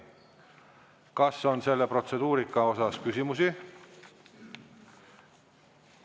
Kas on selle protseduurika kohta küsimusi?